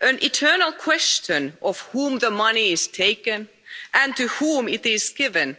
An eternal question from whom the money is taken and to whom it is given.